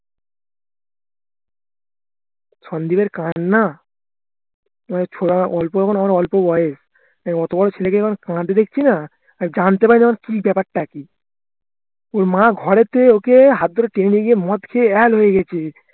সন্দীপের কান্না ছোড়া অল্প তখন আমার অল্প বয়স আহ অতো বড় ছেলেকে যখন কাদতে দেখছিনা জানতে পারিনা কি ব্যাপারটা কি ওর মা ঘর থেকে ওকে হাত ধরে টেনে নিয়ে গিয়ে মদ খেয়ে হয়ে গেছে